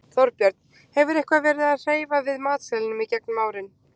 Þorbjörn: Hefurðu eitthvað verið að hreyfa við matseðlinum í gegnum árin?